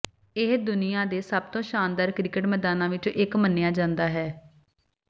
ਇਹ ਦੁਨੀਆ ਦੇ ਸਭਤੋਂ ਸ਼ਾਨਦਾਰ ਕ੍ਰਿਕੇਟ ਮੈਦਾਨਾਂ ਵਿੱਚੋਂ ਇੱਕ ਮੰਨਿਆ ਜਾਂਦਾ ਹੈ